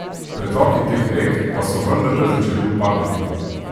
Pretoki teh rek pa so vendarle začeli upadati.